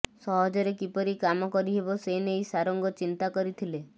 ସହଜରେ କିପରି କାମ କରିହେବ ସେନଇ ସାରଙ୍ଗ ଚିନ୍ତା କରିଥିଲେ